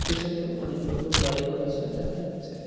পেছনে অনেকগুলো বাড়িঘর আছে দেখা যাচ্ছে .]